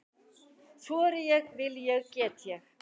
Þori ég- vil ég- get ég?